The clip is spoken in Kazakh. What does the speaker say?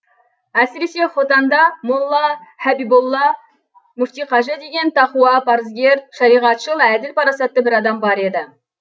әсіресе хотанда молла һәбиболла мүфтиқажы деген тақуа парызгер шариғатшыл әділ парасатты бір адам бар еді